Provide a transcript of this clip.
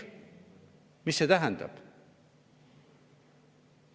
Mida see tähendab?